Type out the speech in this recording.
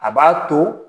A b'a to